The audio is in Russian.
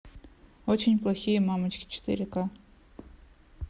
очень плохие мамочки четыре ка